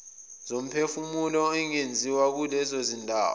zomphefumulo ingenziwa kulezondawo